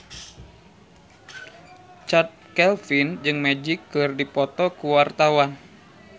Chand Kelvin jeung Magic keur dipoto ku wartawan